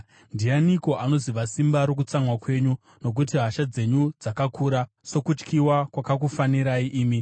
Ndianiko anoziva simba rokutsamwa kwenyu? Nokuti hasha dzenyu dzakakura sokutyiwa kwakakufanirai imi.